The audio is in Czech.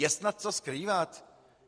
Je snad co skrývat?